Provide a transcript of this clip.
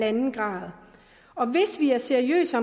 grad og hvis vi er seriøse